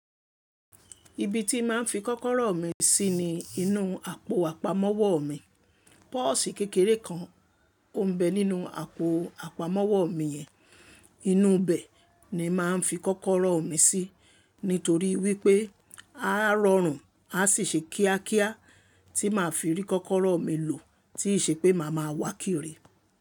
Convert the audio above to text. Ibi tí má n fi kọ́kọ́rọ́ mi sí ni inú àpò àpamọ́wọ́ mi. Pọ́osì kékeré kan ó ń bẹ nínú àpò àpamọ́wọ́ mi yẹn. Inú bẹ ni màá n fi kọ́kọ́rọ́ mi sí nítorí wípé a rọrùn, a sì ṣe kíákíá tí màá fi rí kọ́kọ́rọ́ mi lò tíí ṣe pé màá ma wá kiri.